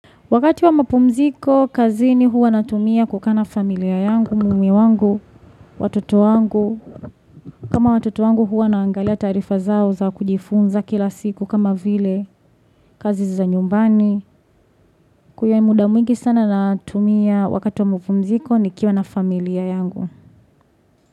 Wakati wa mapumziko, kazi ni huwa natumia kukaa na familia yangu, mume wangu, watoto wangu. Kama watoto wangu huwa naangalia taarifa zao za kujifunza kila siku kama vile, kazi za nyumbani. Kwa hiyo ni muda mwingi sana natumia wakati wa mapumziko ni kiwa na familia yangu.